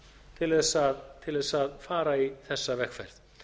til þess að fara í þessa vegferð